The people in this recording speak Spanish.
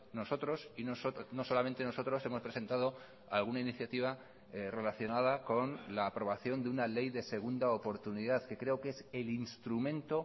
nosotros no solamente nosotros hemos presentado alguna iniciativa relacionada con la aprobación de una ley de segunda oportunidad que creo que es el instrumento